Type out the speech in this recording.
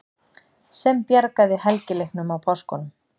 SEM BJARGAÐI HELGILEIKNUM Á PÁSKUNUM.